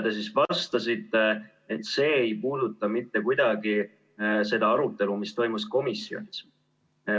Te vastasite, et see ei puuduta mitte kuidagi seda arutelu, mis toimus komisjonis.